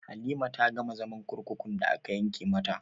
Halima ta gama zaman kurkukun da aka yanke mata